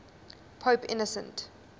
pope innocent